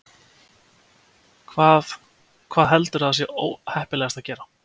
Hvað, hvað heldurðu að sé heppilegast að gera?